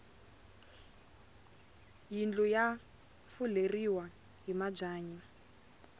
yindlu ya fuleriwa hi mabyanyi